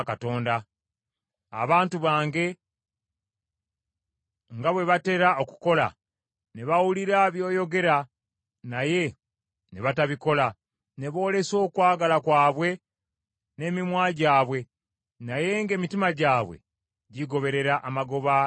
abantu bange nga bwe batera okukola, ne bawulira byoyogera naye ne batabikola, ne boolesa okwagala kwabwe n’emimwa gyabwe, naye ng’emitima gyabwe gigoberera amagoba gaabwe,